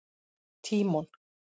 Tímon